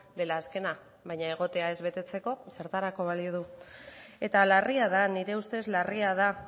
dela azkena baina egotea ez betetzeko zertarako balio du eta larria da nire ustez larria da